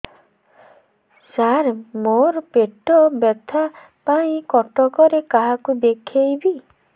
ସାର ମୋ ର ପେଟ ବ୍ୟଥା ପାଇଁ କଟକରେ କାହାକୁ ଦେଖେଇବି